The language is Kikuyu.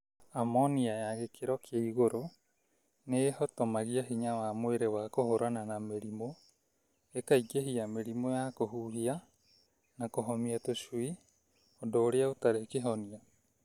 Amonia ya gĩkĩro kĩa igũrũ nĩhotomagia hinya wa mwĩrĩ wa kũhũrana na mĩrimũ, ĩkaingĩhia mĩrimũ ya kũhuhia na kũhomia tũcui ũndũ ũrĩa ũtarĩ kĩhonia.